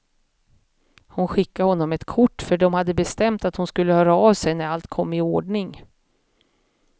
Hon skickade honom ett kort, för de hade bestämt att hon skulle höra av sig när allt kom i ordning.